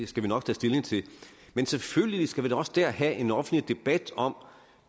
skal vi nok tage stilling til selvfølgelig skal vi da også dér have en offentlig debat om